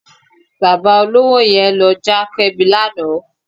Bàbá olówó yẹn ló já Kẹ́mi lánàá.